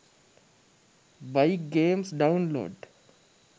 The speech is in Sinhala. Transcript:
bike games download